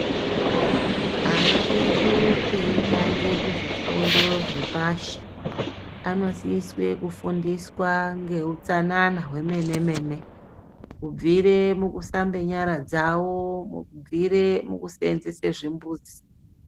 Ana edu eitange kuzvifundo zvepashi anosiswe kufundiswa ngeutsanana hwemene mene kubvire mukushamba nyara dzawo kubvire mukuseenzese zvimbuzi .